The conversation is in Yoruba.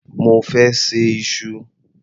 Mo fẹ́ ṣe iṣu.